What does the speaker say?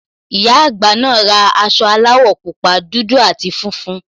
Ìyá àgbà naa ra aṣọ aláwọ̀ pupa, dúdú àti funfun